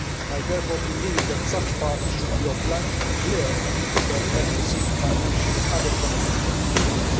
I therefore believe that such parties should be obliged to declare whether they have received financial or other benefits from industry.